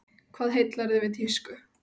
Hvað heillar þig við tísku?